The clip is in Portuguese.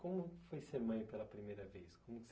Como foi ser mãe pela primeira vez? Como que você